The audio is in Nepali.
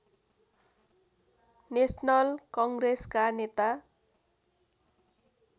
नेसनल कङ्ग्रेसका नेता